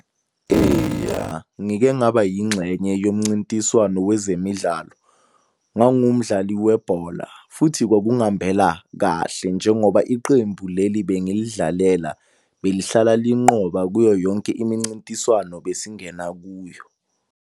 ngike ngaba yingxenye yomncintiswano wezemidlalo. Ngangiwu mdlali webhola, futhi kwakungihambela kahle njengoba iqembu leli bengilidlalela belihlala linqoba kuyo yonke imincintiswano besingena kuyo.